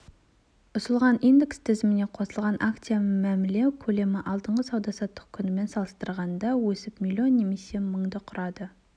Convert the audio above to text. ұсынылған индекс тізіміне қосылған акциямен мәміле көлемі алдыңғы сауда-саттық күнімен салыстырғанда өсіп млн немесе мыңды құрады